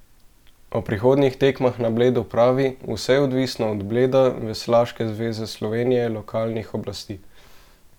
O prihodnjih tekmah na Bledu pravi: "Vse je odvisno od Bleda, Veslaške zveze Slovenije, lokalnih oblasti ...